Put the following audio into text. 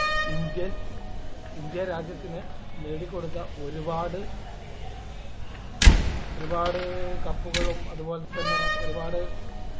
indian ഇന്ത്യ രാജ്യത്തിന് നേടിക്കൊടുത്ത ഒരുപാട് ഒരുപാട് cup കളും അതുപോലെതന്നെ ഒരുപാട്